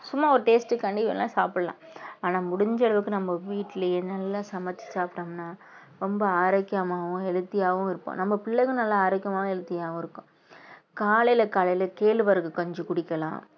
சும்மா ஒரு taste க்காண்டி வேணா சாப்பிடலாம் ஆனா முடிஞ்ச அளவுக்கு நம்ம வீட்டுலயே என்னெல்லாம் சமைச்சு சாப்பிட்டோம்ன்னா ரொம்ப ஆரோக்கியமாவும் healthy ஆவும் இருப்போம் நம்ம பிள்ளைகளும் நல்லா ஆரோக்கியமாவும் healthy ஆவும் இருக்கும் காலையில காலையில கேழ்வரகு கஞ்சி குடிக்கலாம்